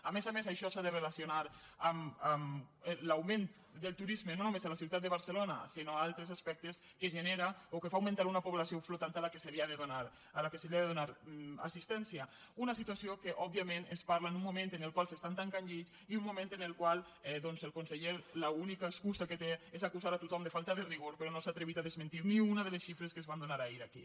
a més a més això s’ha de relacionar amb l’augment del turisme no només a la ciutat de barcelona sinó en altres aspectes que genera o que fa augmentar una població flotant a la qual s’ha de donar assistència una situació que òbviament es parla en un moment en el qual s’estan tancant llits i un moment en el qual doncs el conseller l’única excusa que té és acusar tot·hom de falta de rigor però no s’ha atrevit a desmentir ni una de les xifres que es van donar ahir aquí